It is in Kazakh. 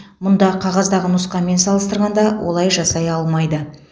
мұнда қағаздағы нұсқамен салыстырғанда олай жасай алмайды